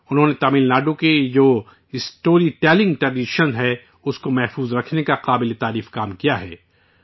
انہوں نے تم ناڈو کی یہ جو اسٹوری ٹیلنگ ٹریڈن داستان گوئی کی روایت ہے اس کو محفوظ کرنے کا قابل تحسین کام کیا ہے